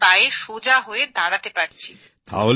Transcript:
নিজের পায়ে সোজা হয়ে দাঁড়াতে পারছি